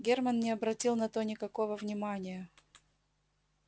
германн не обратил на то никакого внимания